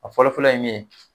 A fɔlɔfɔlɔ ye min ye